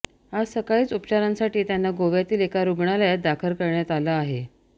आज सकाळीच उपचारांसाठी त्यांना गोव्यातील एका रुग्णालयात दाखल करण्यात आलं आहे